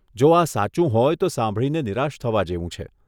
જો આ સાચું હોય તો સાંભળીને નિરાશ થવા જેવું છે.